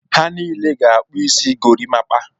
Ha niile ga-akpụ isi gorimakpa.